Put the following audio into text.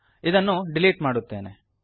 ಇದನ್ನು ಡಿಲೀಟ್ ಮಾಡುತ್ತೇನೆ